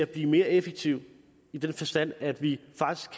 blive mere effektiv i den forstand at vi faktisk